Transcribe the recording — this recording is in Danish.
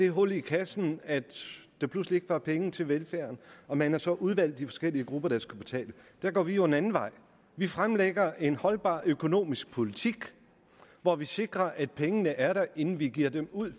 hul i kassen at der pludselig ikke var penge til velfærden og man har så udvalgt de forskellige grupper der skal betale der går vi jo en anden vej vi fremlægger en holdbar økonomisk politik hvor vi sikrer at pengene er der inden vi giver dem ud